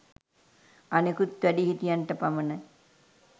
අනෙකුත් වැඩිහිටියන්ට පමණයි